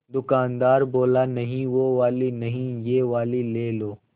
दुकानदार बोला नहीं वो वाली नहीं ये वाली ले लो